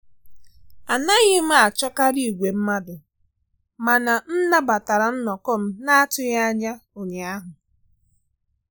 Anaghị m achọkarị igwe mmadụ, mana m nabatara nnọkọ m na-atụghị anya ụnyaahụ